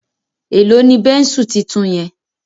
Èló ní Bẹ́ńsù títún yen?